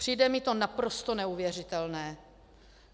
Přijde mi to naprosto neuvěřitelné.